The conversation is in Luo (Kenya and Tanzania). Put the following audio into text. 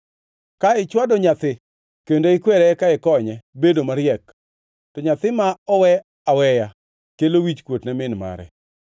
Ka ichwado nyathi kendo ikwere eka ikonye bedo mariek to nyathi ma owe aweya kelo wichkuot ne min mare.